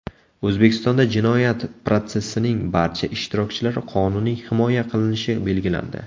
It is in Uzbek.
O‘zbekistonda jinoyat protsessining barcha ishtirokchilari qonuniy himoya qilinishi belgilandi .